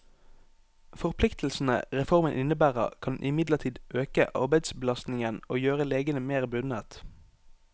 Forpliktelsene reformen innebærer, kan imidlertid øke arbeidsbelastningen og gjøre legene mer bundet.